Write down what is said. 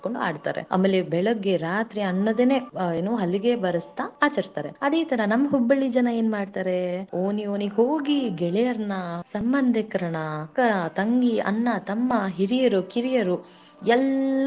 ಕಲಸಕೊಂಡು ಆಡ್ತಾರೆ ಆಮೇಲೆ ಬೆಳಗ್ಗೆ ರಾತ್ರೀ ಅನ್ನದೆನೇ ಏನು ಹಲಗೆ ಬರಸ್ತಾ ಆಚರಿಸ್ತಾರೆ. ಅದಕ್ಕೆ ಈ ತರಾ ನಮ್ಮ Hubballi ಜನಾ ಏನ ಮಾಡ್ತಾರೆ ಓಣಿ ಓಣಿಗೋಗಿ, ಗೆಳೆಯರನಾ ಸಂಬಂಧಿಕರನ್ನ ಅಕ್ಕ ತಂಗಿ ಅಣ್ಣ ತಮ್ಮ ಹಿರಿಯರು ಕಿರಿಯರು ಎಲ್ಲರನು ಒಂದು ಗೂಡಿಸಿ.